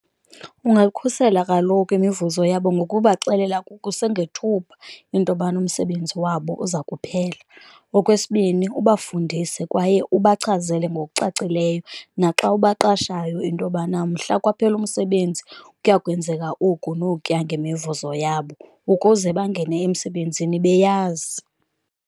Ungayikhusela kaloku imivuzo yabo ngokubaxelela kusengethuba into yobana umsebenzi wabo uza kuphela. Okwesibini, ubafundise kwaye ubachazele ngokucacileyo naxa ubaqashayo into yobana mhla kwaphela umsebenzi kuya kwenzeka oku nokuya ngemivuzo yabo, ukuze bangene emsebenzini beyazi.